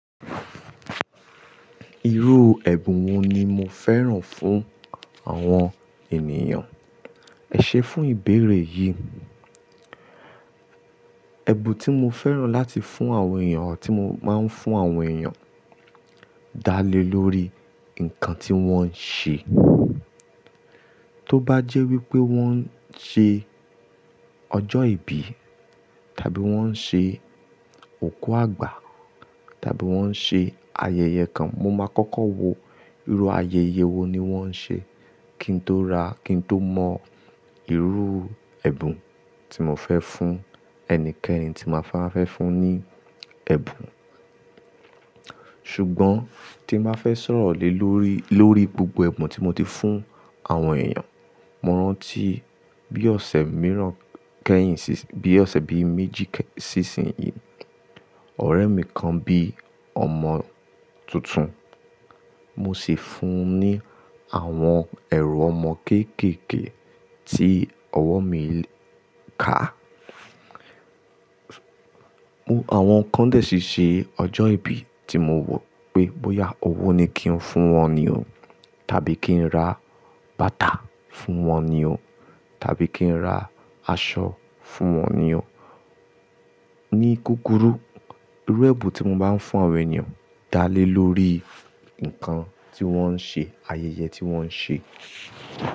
Irú ẹ̀bùn wo ni mo fẹ́ràn fún àwọn ènìyàn? Ẹ ṣé fún ìbéèrè yìí. Ẹ̀bùn tí mo fẹ́ràn láti fún àwọn èèyàn àti mo máa ń fún àwọn èèyàn dálé lórí nǹkan tí wọ́n ṣe. Tó bá jẹ́ wípé wọ́n ń ṣe ọjọ́ ìbí tàbí wọ́n ń ṣe òkú àgbà tàbí wọ́n ń ṣe ayẹyẹ kan, mo máa kọ́kọ́ wo irú ayẹyẹ wo ni wọ́n ń ṣe kí n tó ra, kí n tó mọ irú ẹ̀bùn tí mo fẹ́ fún ẹnikẹ́ni tí máa fẹ́ fún ní ẹ̀bùn. Ṣùgbọ́n tí n ba fẹ́ sọ̀rọ̀ lé lórí, lórí gbogbo ẹ̀bùn tí mo ti fún àwọn èèyàn, mo rántí bí ọ̀sẹ̀ mìíràn kẹyìn, bí ọ̀sẹ̀ bí méjì sísin yìí, ọ̀rẹ́ mi kan bí ọmọ tuntun. Mo sì fún un ní àwọn ẹ̀rù ọmọ kéékèèké tí ọwọ́ mi ká. Àwọn kan dè ṣí ṣe ọjọ́ ìbí tí mo wọ̀ pé bóyá owó ni kí n fún wọn ni o tàbí kí n ra bàtà fún wọn ni o tàbí kí n ra aṣọ fún wọn ni o. Ní kúkúrú, irú ẹ̀bùn tí mo máa ń fún àwọn ènìyàn dálé lórí nǹkan tí wọ́n ń ṣe, ayẹyẹ tí wọ́n ń ṣe.